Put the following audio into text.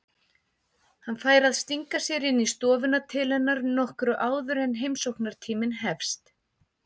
Hann fær að stinga sér inn í stofuna til hennar nokkru áður en heimsóknartíminn hefst.